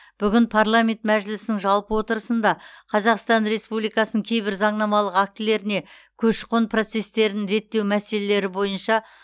бүгін парламент мәжілісінің жалпы отырысында қазақстан республикасының кейбір заңнамалық актілеріне көші қон процестерін реттеу мәселелері бойынша